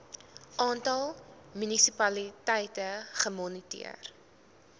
aantal munisipaliteite gemoniteer